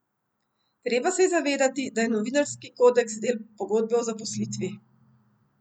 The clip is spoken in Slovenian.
Treba se je zavedati, da je novinarski kodeks del pogodbe o zaposlitvi.